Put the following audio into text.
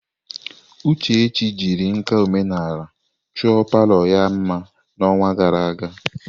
Uchechi jiri nka omenala chọọ palọ ha mma n'ọnwa gara aga.